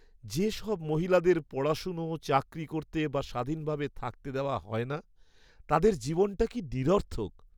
যেসব মহিলাদের পড়াশোনা, চাকরি করতে বা স্বাধীনভাবে থাকতে দেওয়া হয় না, তাঁদের জীবনটা কী নিরর্থক!